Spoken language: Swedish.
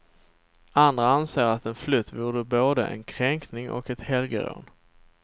Andra anser att en flytt vore både en kränkning och ett helgerån.